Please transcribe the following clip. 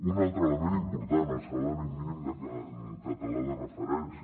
un altre element important el salari mínim català de referència